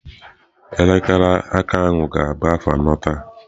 Elekere aka aka ahụ ga-abụ afọ anọ taa.